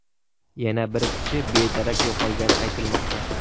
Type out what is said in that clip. Yana bir kishi bedarak yo‘qolgani aytilmoqda.